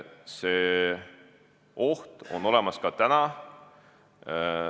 See oht on olemas ka täna.